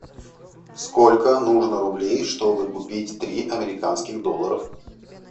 сколько нужно рублей чтобы купить три американских доллара